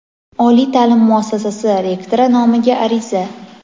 oliy taʼlim muassasasi rektori nomiga ariza;.